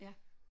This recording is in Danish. Ja